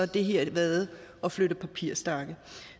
det her været at flytte papirstakke